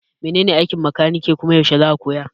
Menene aikin makaniki kuma yaushe zaka koya?